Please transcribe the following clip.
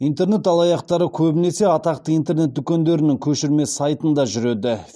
интернет алаяқтары көбінесе атақты интернет дүкендерінің көшірме сайтында жүреді